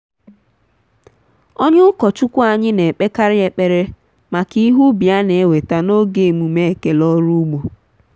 onye ukọchụkwụ anyị na-ekpekarị ekpere maka ihe ubi a na-eweta n'oge emume ekele ọrụ ugbo.